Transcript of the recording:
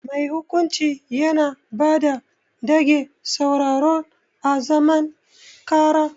Mai hukunci Yana bada dage sauraron à zaman karà.